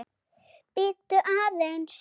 Bíddu aðeins